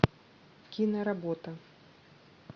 киноработа